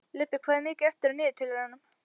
Leibbi, hvað er mikið eftir af niðurteljaranum?